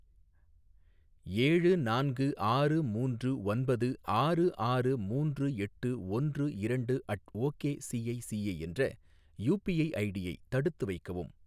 ஏழு நான்கு ஆறு மூன்று ஒன்பது ஆறு ஆறு மூன்று எட்டு ஒன்று இரண்டு அட் ஓகே சிஐசிஐ என்ற யூபிஐ ஐடியை தடுத்து வைக்கவும்.